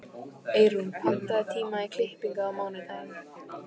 Eyrún, pantaðu tíma í klippingu á mánudaginn.